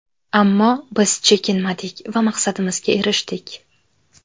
Ammo biz chekinmadik va maqsadimizga erishdik.